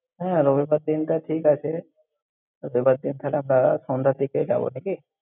হ্যাঁ, রবিবার দিনটা ঠিক আছে। রবিবার দিন তাহলে আমরা সন্ধ্যার দিকে যাবো, নাকি?